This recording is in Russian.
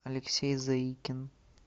алексей заикин